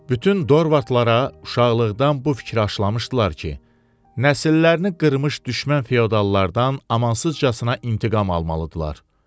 Bütün dorvartlara uşaqlıqdan bu fikir aşılamışdılar ki, nəsillərini qırmış düşmən feodallardan amansızcasına intiqam almalıdırlar.